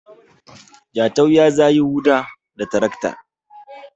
Jatau ya za yi Huɗa da tarakta